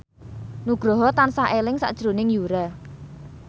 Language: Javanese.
Nugroho tansah eling sakjroning Yura